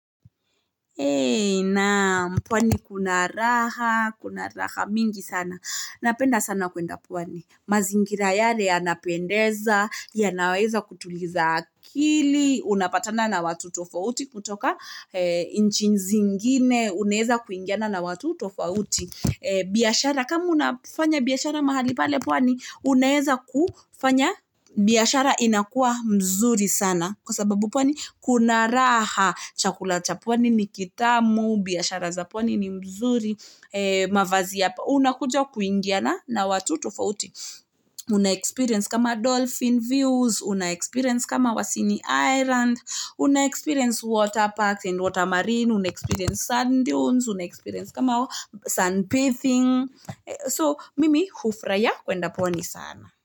Eee, naa, mpwani kuna raha, kuna raha mingi sana. Napenda sana kunda pwani. Mazingira yare anapuendeza, ya naweza kutuliza akili. Una pata na na watutofo uti kutoka inchinzingine. Unaweza kuingiana na watu tofouti. Biashara, kamu na fanya biashara mahali palepwani, unaweza kufanya, biashara inakua mzuri sana. Kwa sababu pwani, kuna raha. Chakula, chapwani, nikitamo. Biasharazapwani ni mzuri. Eee, mawazia. Una kujo kuingiana na watutofo uti. Una experience kama dolphin views. Una experience kama wasini island. Una experience water parks and water marine. Una experience sand dunes. Una experience kama sun pathing. Eee, so mimi hufuraha kundapwani sana.